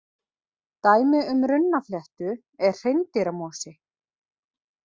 Dæmi um runnafléttu er hreindýramosi.